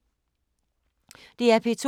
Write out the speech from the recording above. DR P2